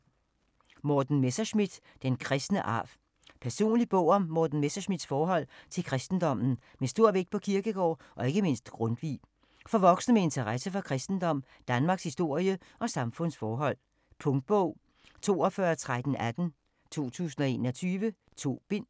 Messerschmidt, Morten: Den kristne arv Personlig bog om Morten Messerschmidts forhold til kristendommen med stor vægt på Kierkegaard og ikke mindst Grundtvig. For voksne med interesse for kristendom, Danmarkshistorie og samfundsforhold. Punktbog 421318 2021. 2 bind.